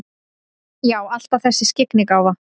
Já, alltaf þessi skyggnigáfa.